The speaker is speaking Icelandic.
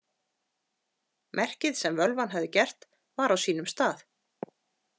Merkið sem völvan hafði gert var á sínum stað.